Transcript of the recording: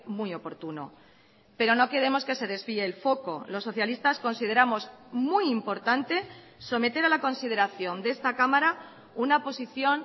muy oportuno pero no queremos que se desvíe el foco los socialistas consideramos muy importante someter a la consideración de esta cámara una posición